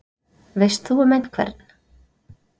Veist þú um einhvern?